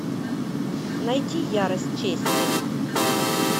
найди ярость чести